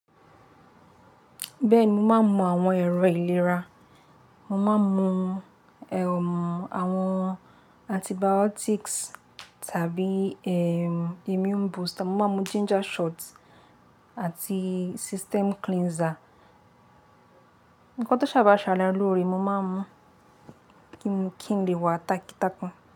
Bẹ́ẹ̀ni mo máa ń mu àwọn ẹ̀rọ ìlera, mo máa ń mu ehn àwọn antibiotics tàbí ehn immune booster, mo máa ń mu ginger shots àti system cleanser. Ǹkan tí ó ṣà bàá ṣa ara lóre mo máa ń mu kí n lè wa takí-tápùn.